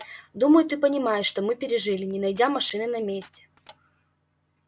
думаю ты понимаешь что мы пережили не найдя машины на месте